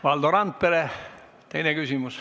Valdo Randpere, teine küsimus.